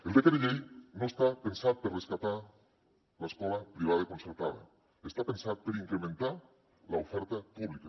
el decret llei no està pensat per rescatar l’escola privada concertada està pensat per incrementar l’oferta pública